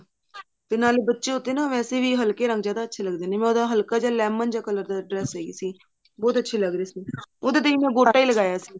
ਤੇ ਨਾਲੇ ਬੱਚੇ ਤੇ ਵੈਸੇ ਵੀ ਹਲਕੇ ਰੰਗ ਜਿਆਦਾ ਅੱਛੇ ਲੱਗਦੇ ਨੇ ਮੈਂ ਉਹਦਾ ਹਲਕਾ ਜਾ lemon ਦੇ color ਦੀ dress ਸਈ ਸੀ ਬਹੁਤ ਅੱਛੀ ਲੱਗ ਰਹੀ ਸੀ ਉਹਦੇ ਤੇ ਮੈਂ ਗੋਟਾ ਹੀ ਲਗਾਇਆ ਸੀ